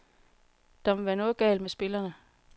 Der må være noget galt med spillerne.